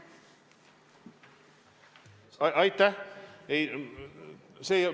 Aitäh!